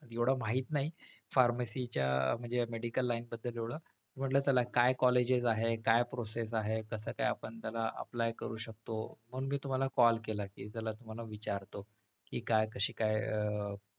एवढं माहित नाही pharmacy च्या म्हणजे medical line बद्दल एवढं म्हंटल चला काय colleges आहे काय process आहे कस काय आपण त्याला apply करू शकतो म्हणून मी तुम्हाला call केला कि चला तुम्हाला विचारतो कि काय कशी काय अह